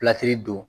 don